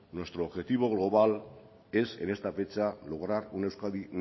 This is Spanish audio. nuestro objetivo global es en esta fecha lograr una euskadi